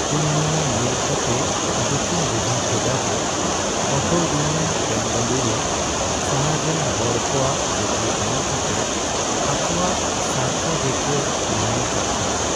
ᱤᱧ ᱱᱚᱣᱟ ᱧᱮᱞ ᱠᱟᱛᱮᱜ ᱫᱩᱠᱤᱧ ᱵᱩᱡᱷᱟᱹᱣ ᱠᱮᱫᱟ ᱡᱮ ᱚᱴᱳ ᱤᱭᱩᱱᱤᱭᱚᱱ ᱵᱮᱝᱜᱟᱞᱩᱨᱩ ᱥᱟᱦᱟᱨ ᱨᱮᱱ ᱦᱚᱲ ᱠᱚᱣᱟᱜ ᱵᱩᱜᱤ ᱵᱟᱝ ᱠᱟᱛᱮᱜ ᱟᱠᱚᱣᱟᱜ ᱥᱟᱨᱛᱷᱚ ᱜᱮᱠᱚ ᱢᱟᱲᱟᱝ ᱠᱟᱜ ᱠᱟᱱᱟ ᱾